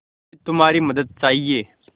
मुझे तुम्हारी मदद चाहिये